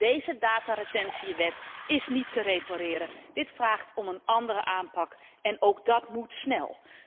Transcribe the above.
Deze dataretentiewet is niet te repareren, dit vraagt om een andere aanpak en ook dat moet snel.